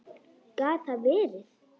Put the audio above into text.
Gat það verið.?